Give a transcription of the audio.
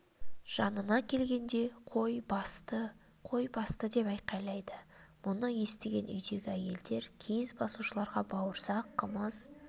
жанына келгенде қой басты-қой басты деп айқайлайды мұны естіген үйдегі әйелдер киіз басушыларға бауырсақ қымыз